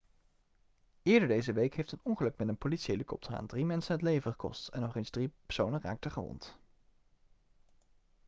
eerder deze week heeft een ongeluk met een politiehelikopter aan drie mensen het leven gekost en nog eens drie personen raakten gewond